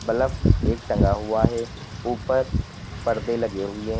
Bulb एक टंगा हुआ है ऊपर परदे लगे हुए हैं।